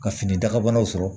Ka fini dakabanaw sɔrɔ